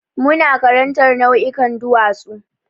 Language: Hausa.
Muna karantar nau'ikan duwatsu.